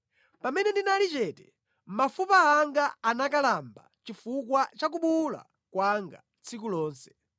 Pamene ndinali chete, mafupa anga anakalamba chifukwa cha kubuwula kwanga tsiku lonse.